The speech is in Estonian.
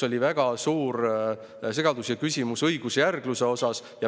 Oli väga suur segadus ja küsimus õigusjärgluse asjus.